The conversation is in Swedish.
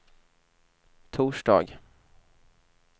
torsdag